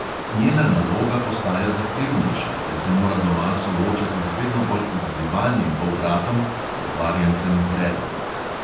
Njena naloga postaja zahtevnejša, saj se mora doma soočati z vedno bolj izzivalnim polbratom, pokvarjencem bredom.